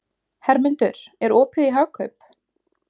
Hermundur, er opið í Hagkaup?